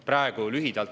Praegu sellest lühidalt.